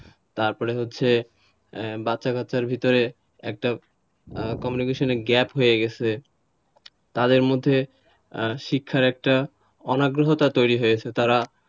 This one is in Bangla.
তারপরে হচ্ছে বাচ্চাকাচ্চার ভেতরে একটা communication gap হয়ে গেছে তাদের মধ্যে শিক্ষার একটা অনাগ্রহতা তৈরি হয়েছে তারা,